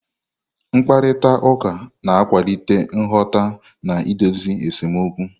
Mkparịta ụka na-akwalite nghọta na idozi esemokwu.